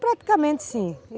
Praticamente, sim.